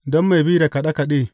Don mai bi da kaɗe kaɗe.